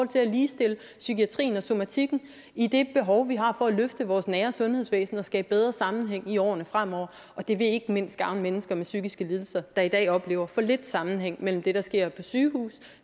til at ligestille psykiatrien og somatikken i det behov vi har for at løfte vores nære sundhedsvæsen og skabe bedre sammenhæng i årene fremover og det vil ikke mindst gavne mennesker med psykiske lidelser der i dag oplever for lidt sammenhæng mellem det der sker på sygehuse